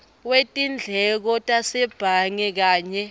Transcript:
wetindleko tasebhange kanye